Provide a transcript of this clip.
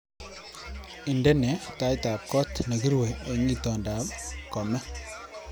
Indenee taitab kot nekirue eng itondoab komee